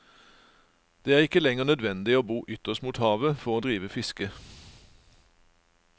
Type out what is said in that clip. Det er ikke lenger nødvendig å bo ytterst mot havet for å drive fiske.